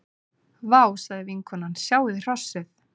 Vá, sagði vinkonan,- sjáiði hrossið.